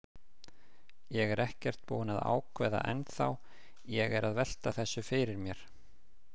Ég er ekkert búinn að ákveða ennþá, ég er að velta þessu fyrir mér.